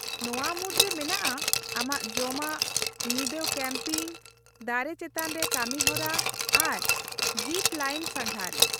-ᱱᱚᱶᱟ ᱢᱩᱫᱽᱨᱮ ᱢᱮᱱᱟᱜᱼᱟ ᱟᱢᱟᱜ ᱡᱚᱢᱟᱜ, ᱧᱤᱫᱟᱹ ᱠᱮᱢᱯᱤᱝ, ᱫᱟᱨᱮ ᱪᱮᱛᱟᱱ ᱨᱮ ᱠᱟᱹᱢᱤᱦᱚᱨᱟ, ᱟᱨ ᱡᱤᱯᱼᱞᱟᱭᱤᱱ ᱥᱟᱸᱜᱷᱟᱨ ᱾